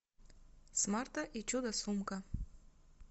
смарта и чудо сумка